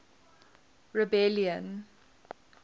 rebellion